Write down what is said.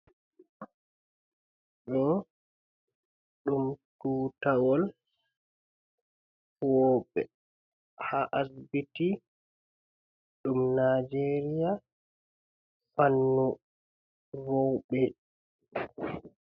Ɗo ɗum tuutawol huwooɓe haa asibiti, ɗum Najeeriya fannu roɓe.